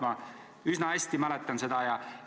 Ma üsna hästi mäletan seda.